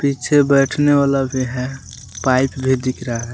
पीछे बैठने वाला भी है पाइप भी दिख रहा है।